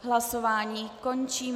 Hlasování končím.